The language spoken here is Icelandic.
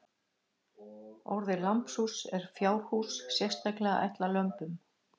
Orðið lambhús er fjárhús sérstaklega ætlað lömbum.